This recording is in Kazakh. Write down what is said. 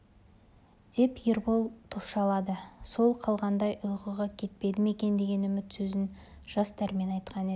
деп ербол топшылады сол қалғығандай ұйқыға кетпеді ме екен деген үміт сөзін жас дәрмен айтқан еді